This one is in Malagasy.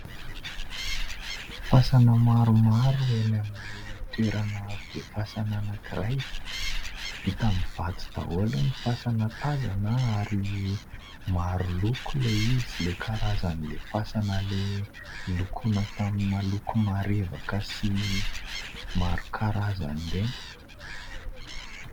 Fasana maromaro eny amin'ny toerana be fasana anankiray, vita amin'ny vato daholo ny fasana tazana ary maro loko ilay izy, ilay karazan'ilay fasana nolokoina tamina loko marevaka sy maro karazana ireny.